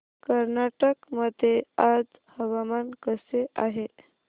कर्नाटक मध्ये आज हवामान कसे आहे